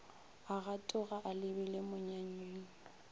a gatoga a lebile monyanyeng